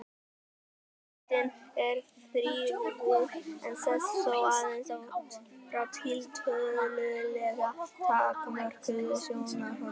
Almyndin er þrívíð en sést þó aðeins frá tiltölulega takmörkuðu sjónarhorni.